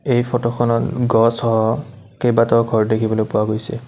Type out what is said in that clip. এই ফটোখনত উম্ গছ সহ কেইবাটাও ঘৰ দেখিবলৈ পোৱা গৈছে।